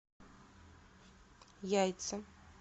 яйца